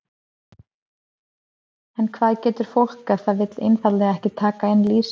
En hvað getur fólk ef það vill einfaldlega ekki taka inn lýsi?